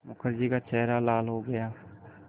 मुखर्जी का चेहरा लाल हो गया